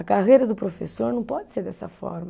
A carreira do professor não pode ser dessa forma.